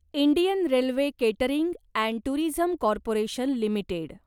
Indian railway catering and tourism corporation limited